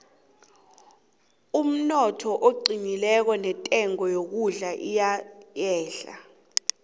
umnotho nawuqinileko intengo yokudla iyehla